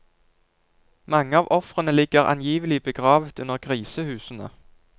Mange av ofrene ligger angivelig begravet under grisehusene.